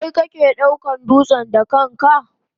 Kai ke daukan dutsen da kanka?